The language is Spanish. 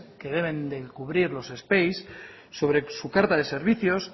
que deben de cubrir los sobre su carta de servicios